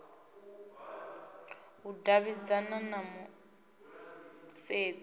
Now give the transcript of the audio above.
u davhidzana na mu isedzi